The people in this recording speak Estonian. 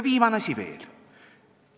Viimane asi veel.